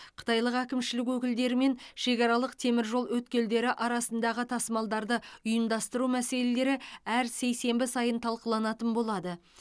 қытайлық әкімшілік өкілдерімен шекаралық теміржол өткелдері арасындағы тасымалдарды ұйымдастыру мәселелері әр сейсенбі сайын талқыланатын болады